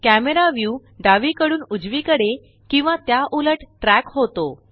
camera view डावीकडून उजवीकडे किंवा त्या उलट ट्रॅक होतो